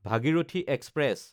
Bhagirathi express